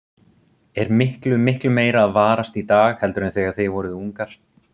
Er miklu, miklu meira að varast í dag heldur en þegar þið voruð ungar?